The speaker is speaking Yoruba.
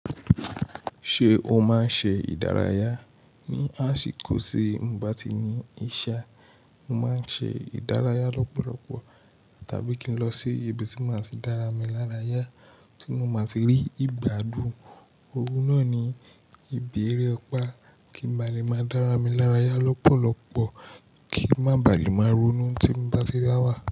Ṣé o máa ń ṣe ìdárayá? Ni àsìkò tí mo bá ti ní iṣẹ́, mo máa ń ṣe ìdárayá lọ́pọ̀lọpọ̀ tàbí kí n lọ sí ibi tí máa ti dára mi lárayá tí mo máa ti rí ìgbádùn. Òun náà ni ìbi érèpá kí n ba lè máa dára mi lárayá lọ́pọ̀lọpọ̀ kí n má baà lè máa ronú tí mo bá ti dá wà.